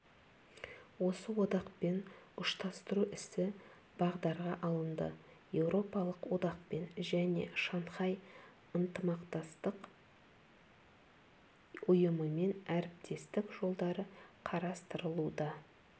осы одақпен ұштастыру ісі бағдарға алынды еуропалық одақпен және шанхай ынтымақтастық ұйымымен әріптестік жолдары қарастырылуда